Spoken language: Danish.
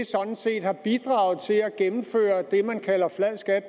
sådan set har bidraget til at gennemføre det man kalder flad skat